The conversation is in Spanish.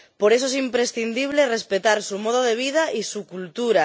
Por eso es imprescindible respetar su modo de vida y su cultura.